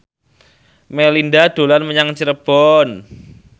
Melinda dolan menyang Cirebon